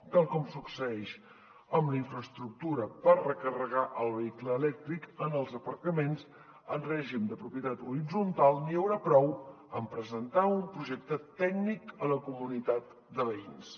tal com succeeix amb la infraestructura per recarregar el vehicle elèctric en els aparcaments en règim de propietat horitzontal n’hi haurà prou a presentar un projecte tècnic a la comunitat de veïns